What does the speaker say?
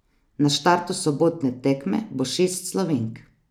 Na štartu sobotne tekme bo šest Slovenk.